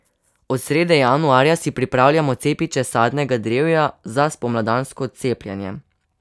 Od srede januarja si pripravljamo cepiče sadnega drevja za spomladansko cepljenje.